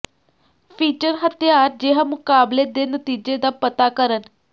feature ਹਥਿਆਰ ਜਿਹਾ ਮੁਕਾਬਲੇ ਦੇ ਨਤੀਜੇ ਦਾ ਪਤਾ ਕਰਨ